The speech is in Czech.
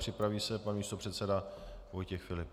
Připraví se pan místopředseda Vojtěch Filip.